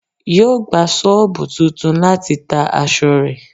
Yo gba soobu tuntun láti ta aṣọ rẹ